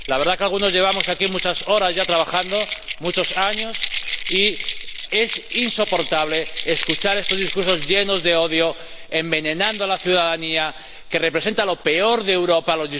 La verdad es que algunos llevamos aquí muchas horas ya trabajando, muchos años, y es insoportable escuchar esos discursos llenos de odio, que envenenan a la ciudadanía y representan lo peor de Europa